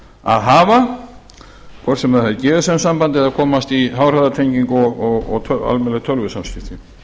að hafa hvort sem það er gsm samband eða komast í háhraðatengingu og almennileg tölvusamskipti